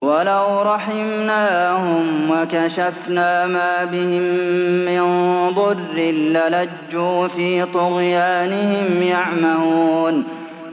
۞ وَلَوْ رَحِمْنَاهُمْ وَكَشَفْنَا مَا بِهِم مِّن ضُرٍّ لَّلَجُّوا فِي طُغْيَانِهِمْ يَعْمَهُونَ